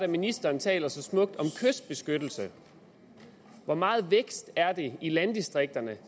ministeren taler så smukt om kystbeskyttelse hvor meget vækst i landdistrikterne